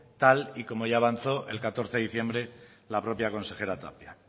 tal y como ya avanzó el catorce de diciembre la propia consejera tapia